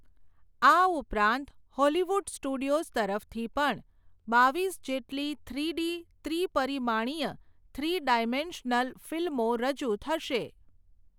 આ ઉપરાંત Hollywood studios તરફથી પણ, બાવીસ જેટલી થ્રી ડી ત્રિપરિમાણિય, થ્રી ડાઈમેન્શનલ ફિલ્મો રજૂ થશે.